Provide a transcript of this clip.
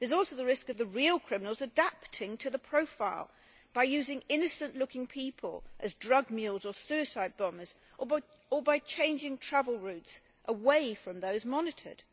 There is also the risk of the real criminals adapting to the profile by using innocent looking people as drug mules or suicide bombers or by changing travel routes away from those monitored.